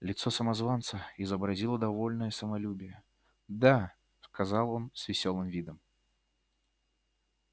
лицо самозванца изобразило довольное самолюбие да сказал он с весёлым видом